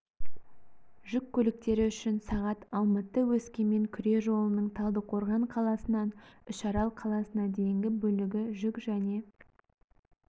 жүк көліктері үшін сағат алматы-өскемен күре жолының талдықорған қаласынан үшарал қаласына дейінгі бөлігі жүк және